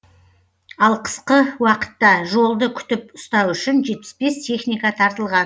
ал қысқы уақытта жолды күтіп ұстау үшін жетпіс бес техника тартылған